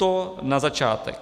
To na začátek.